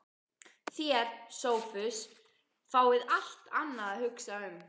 Þér, Sophus, fáið allt annað að hugsa um.